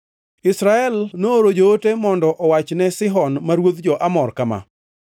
Israel nooro joote mondo owach ne Sihon ma ruodh jo-Amor kama: